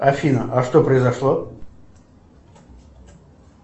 афина а что произошло